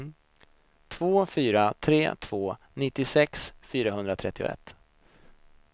två fyra tre två nittiosex fyrahundratrettioett